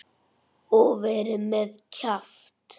Og verið með kjaft.